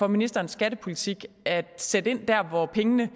ministerens skattepolitik er at sætte ind der hvor pengene